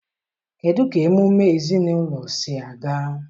kedụ ka emume ezinụlọ si aga?